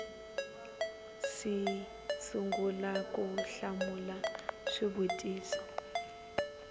si sungula ku hlamula swivutiso